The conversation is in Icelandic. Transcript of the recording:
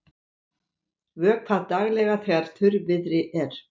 Vökvað daglega þegar þurrviðri er.